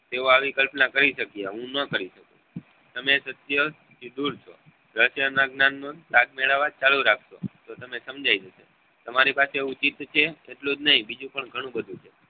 તેઓ આવી કલ્પના કરી શક્ય હું નાં કરી શકું તમે સાથ મેળવવા ચાલુ રાખસો તો તમને સમજાઈ જશે તમારી પાસે એવું ચિત્ર છે એટલું જ નહી બીજું પણ ગણું બધું છે